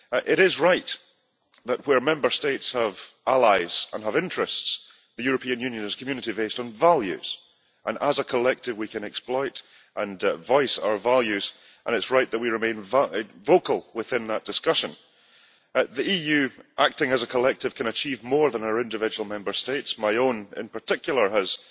It is right that where Member States have allies and have interests, the European Union is a community based on values and as a collective we can exploit and voice our values and it is right that we remain vocal within that discussion. The EU, acting as a collective, can achieve more than our individual Member States my own in particular has